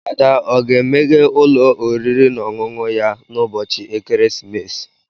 Ada o ga-emeghe ụlọ oriri na ọṅụṅụ ya n'ụbọchị ekeresimesi?